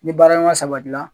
Ni baara ɲɔgɔnya sabati la.